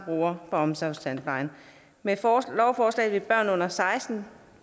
brugere af omsorgstandplejen med lovforslaget vil børn under seksten